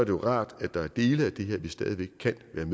jo rart at der er dele af det her vi stadig væk kan være